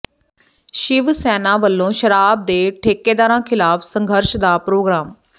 ਸ਼ਿਵ ਸੈਨਾ ਵੱਲੋਂ ਸ਼ਰਾਬ ਦੇ ਠੇਕੇਦਾਰਾਂ ਖ਼ਿਲਾਫ਼ ਸੰਘਰਸ਼ ਦਾ ਪ੍ਰੋਗਰਾਮ